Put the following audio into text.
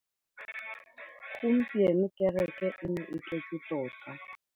Gompieno kêrêkê e ne e tletse tota.